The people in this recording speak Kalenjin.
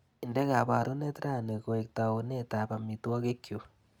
Inde kabarunet rani koek taunetap amitwagikgchu.